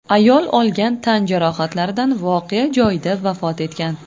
Ayol olgan tan jarohatlaridan voqea joyida vafot etgan.